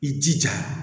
I jija